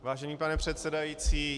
Vážený pane předsedající.